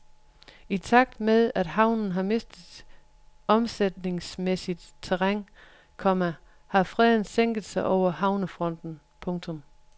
I takt med at havnen har mistet omsætningsmæssigt terræn, komma har freden sænken sig over havnefronten. punktum